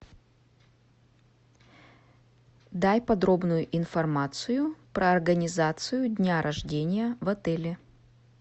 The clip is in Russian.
дай подробную информацию про организацию дня рождения в отеле